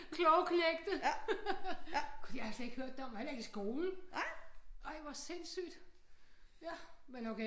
Kloge knægte jeg har slet ikke hørt det om heller ikke i skolen ej hvor sindssygt ja men okay